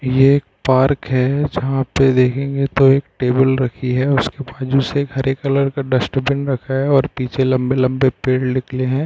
ये एक पार्क है जहाँ पे देखेंगे तो एक टेबल रखी है। उसके बाजु से एक हरे कलर का डस्ट्बिन रखा है और पीछे लंबे लंबे पेड़ निकले है।